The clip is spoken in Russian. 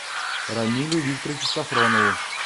рамилю викторовичу софронову